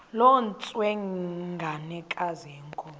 loo ntsengwanekazi yenkomo